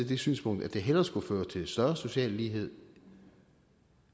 det synspunkt at det hellere skulle føre til større social lighed